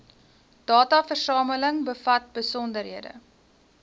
dataversameling bevat besonderhede